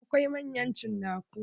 Akwai manyan cinaku.